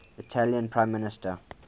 italian prime minister